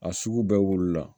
A sugu bɛɛ wolola